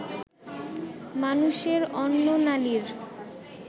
মানুষের অন্ননালীর